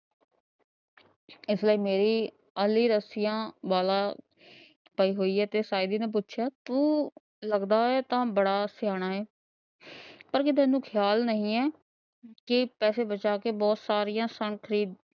ਇਸ ਲਈ ਮੇਰੀ ਆਲੀ ਰੱਸੀਆਂ ਵਾਲਾ ਪਈ ਹੋਈ ਆ। ਤੇ ਸਾਇਦੀ ਨੇ ਪੁੱਛਿਆ ਤੂੰ ਲੱਗਦਾ, ਏ ਤਾਂ ਬੜਾ ਸਿਆਣਾ ਏ ਪਰ ਤੈਨੂੰ ਖਿਆਲ ਨਹੀਂ ਏ ਕੇ ਪੈਸੇ ਬਚਾਕੇ ਬਹੁਤ ਸਾਰਿਆਂ ਸੰਕ ਖਰੀਦ